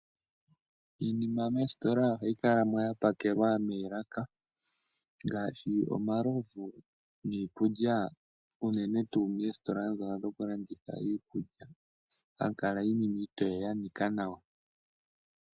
Iinima moositola ohayi kalamo ya pakelwa moolaka ngashi omalovu niikulya, uunene tu moositola dhoka dhoku landitha iikulya, hamu kala iinima iitoye ya nika nawa.